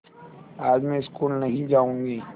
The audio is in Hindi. आज मैं स्कूल नहीं जाऊँगी